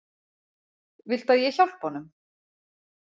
Viltu að ég hjálpi honum?